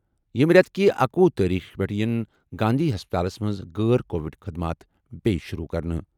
ییٚمہِ رٮ۪تہٕ کہِ اکۄہُ تٲریخہٕ پٮ۪ٹھٕ یِن گاندھی ہسپتالَس منٛز غٲر کووڈ خٔدمات بیٚیہِ شروٗع۔